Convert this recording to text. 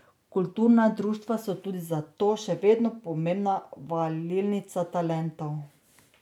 Kulturna društva so tudi zato še vedno pomembna valilnica talentov.